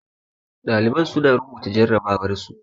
Ɗaliban su na rubuta jarrabawar su